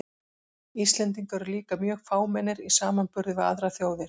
Íslendingar eru líka mjög fámennir í samanburði við aðrar þjóðir.